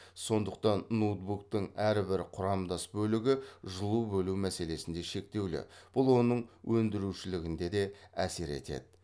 сондықтан ноутбуктың әр бір құрамдас бөлігі жылу бөлу мәселесінде шектеулі бұл оның өндірушілігіне де әсер етеді